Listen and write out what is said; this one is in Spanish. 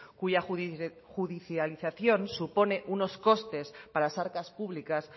cuya judicialización supone unos costes para las arcas públicas